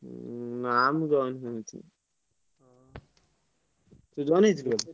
ନାଁ ମୁଁ join ହେଇନଥିଲି। ତୁ join ହେଇଥିଲୁ?